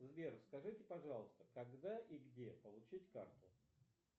сбер скажите пожалуйста когда и где получить карту